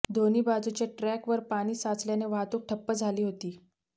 दोन्ही बाजूच्या ट्रॅकवर पाणी साचल्याने वाहतूक ठप्प झाली होती